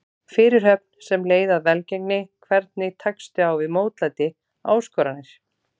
Fyrirhöfn sem leið að velgengni Hvernig tekstu á við mótlæti, áskoranir?